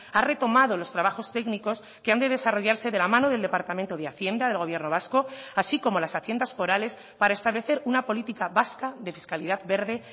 ha retomado los trabajos técnicos que han de desarrollarse de la mano del departamento de hacienda del gobierno vasco así como las haciendas forales para establecer una política vasca de fiscalidad verde